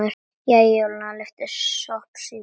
Jæja, Júlía lyfti sposk brúnum.